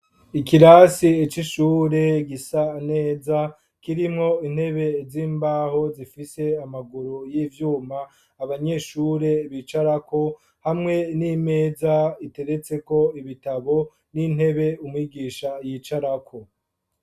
Ikirasi c'ishure gisaneza kirimwo intebe z'imbaho zifise amaguru y'ivyuma abanyeshure bicara ko hamwe n'imeza iteretse ko ibitabo n'intebe umwigisha yicara ko.